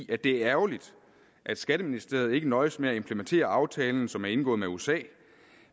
at det er ærgerligt at skatteministeriet ikke nøjes med at implementere aftalen som er indgået med usa